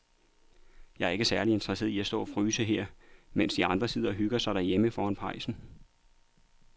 Jeg er ikke særlig interesseret i at stå og fryse her, mens de andre sidder og hygger sig derhjemme foran pejsen.